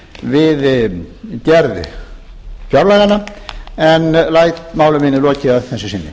við gerð fjárlaganna en læt máli mínu lokið að þessu sinni